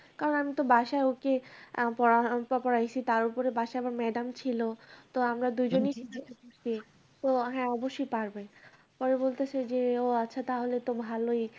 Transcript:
কারণ আমি তো বাসায় ওকে আহ পড়াইছি, তার ওপর বাসায় আমার madam ছিল, তো আমরা দুজনেই Noise তো হ্যাঁ অবশ্যই পারবে। পরে বলতাছে যে, ও আচ্ছা তাহলে তো ভালোই।